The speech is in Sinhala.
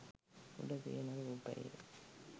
උඩ තියන රූපයේ